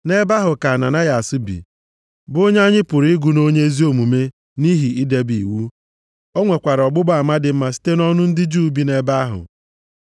“Nʼebe ahụ ka Ananayas bi, bụ onye anyị pụrụ ịgụ nʼonye ezi omume nʼihi idebe iwu. O nwekwara ọgbụgba ama dị mma site nʼọnụ ndị Juu bi nʼebe ahụ.